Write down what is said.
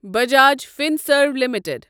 Bajaj Finserv limited